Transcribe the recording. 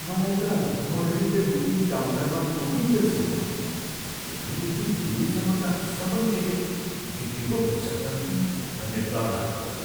मलाई त म रेलवे बुकिङ काउन्टरमा पुगिन्जेलसम्म चेन्नईदेखि दिल्लीसम्मका सबै टिकट बिक्री पो भइसक्छन् कि भन्ने डर लागेको छ।